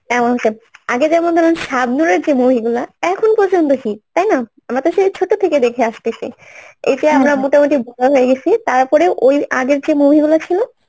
আগে যেমন ধরুন সাপধরের যে movie গুলা এখন পর্যন্ত hit তাই না? আমরা তো সেই ছোট থেকে দেখে আসতেছি এই যে আমরা মোটামুটি বড়ো হয়ে গেছি তারপরে ওই আগের যে movie গুলো ছিল